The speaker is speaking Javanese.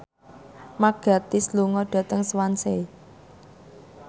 Mark Gatiss lunga dhateng Swansea